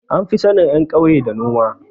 An fi sanin ƴan kauya da noma